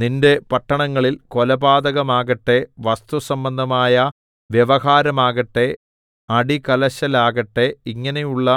നിന്റെ പട്ടണങ്ങളിൽ കൊലപാതകമാകട്ടെ വസ്തുസംബന്ധമായ വ്യവഹാരമാകട്ടെ അടികലശലാകട്ടെ ഇങ്ങനെയുള്ള